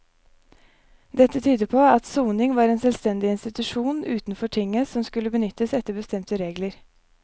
Dette tyder på at soning var en selvstendig institusjon utenfor tinget som skulle benyttes etter bestemte regler.